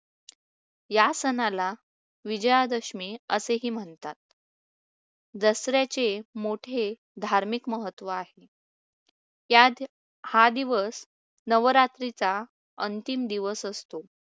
या सणाला विजयादशमी असेही म्हणतात. दसऱ्याचे मोठे धार्मिक महत्त्व आहे. त्यात हा दिवस नवरात्रीचा अंतिम दिवस असतो.